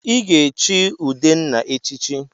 Ị ga-echi Udenna echichi!